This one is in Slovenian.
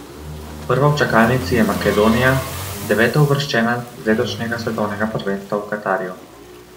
Prva v čakalnici je Makedonija, devetouvrščena z letošnjega svetovnega prvenstva v Katarju.